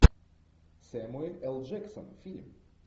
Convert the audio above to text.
сэмюэл л джексон фильм